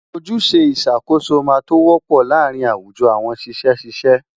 Ojúṣe ìṣàkóso máa tó wọ́pọ̀ láàárín àwùjọ àwọn ṣiṣẹ́ ṣíṣe.